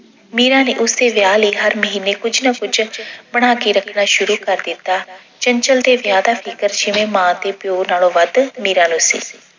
ਮੀਰਾ ਨੇ ਉਸਦੇ ਵਿਆਹ ਲਈ ਹਰ ਮਹੀਨੇ ਕੁੱਝ ਨਾ ਕੁੱਝ ਬਣਾ ਕੇ ਰੱਖਣਾ ਸ਼ੁਰੂ ਕਰ ਦਿੱਤਾ। ਚੰਚਲ ਦੇ ਵਿਆਹ ਦਾ ਫਿਕਰ ਜਿਵੇਂ ਮਾਂ ਤੇ ਪਿਓ ਨਾਲੋਂ ਵੱਧ ਮੀਰਾ ਨੂੰ ਸੀ